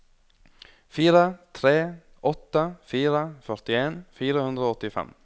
fire tre åtte fire førtien fire hundre og åttifem